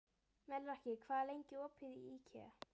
Melrakki, hvað er lengi opið í IKEA?